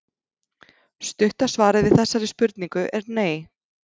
Stutta svarið við þessari spurningu er nei.